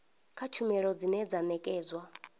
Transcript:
kha tshumelo dzine dza nekedzwa